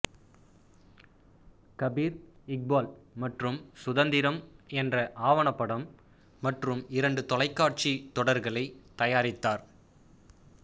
கபீர் இக்பால் மற்றும் சுதந்திரம் என்ற ஆவணப்படம் மற்றும் இரண்டு தொலைக்காட்சி தொடர்களைத் தயாரித்தார்